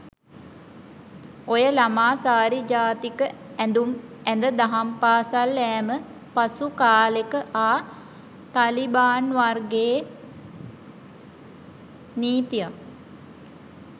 ඔය ළමා සාරි ජාතික ඇඳම් ඇඳ දහම් පාසල් යෑම පසු කාලෙක ආ තලිබාන් වර්ගයේ නීතියක්.